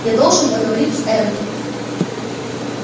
я должен поговорить с эрби